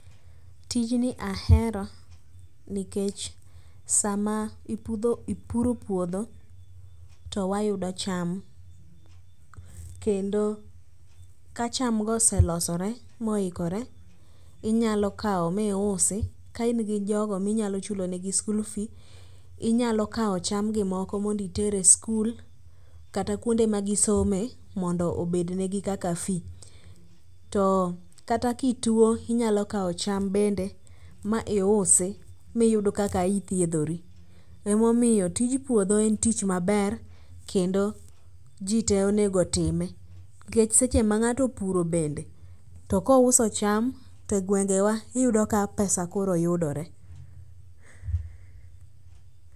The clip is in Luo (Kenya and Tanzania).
Tijni ahero nikech sama ipuro puodho to wayudo cham, kendo ka chamgo oselosore moikore inyalo kawo miusi ka in gi jogo minyalo chulonegi school fee inyalo kawo chamgi moko mondo iter e skul kata kuonde magisome mondo obednegi kaka fee. Kata kituo inyalo kawo cham bende ma iusi miyud kaka ithiedhori, emomiyo tij puodho en tich maber kendo ji te onego time, nikech seche ma ng'ato opuro bende to gwengewa iyudo ka pesa koro yudore.